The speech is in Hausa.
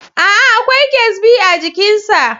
Aa, Akwai ƙyasbi a jikin sa